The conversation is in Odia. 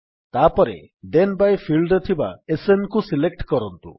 ତାପରେ ଥେନ୍ ବାଇ ଫିଲ୍ଡରେ ଥିବା SNକୁ ସିଲେକ୍ଟ କରନ୍ତୁ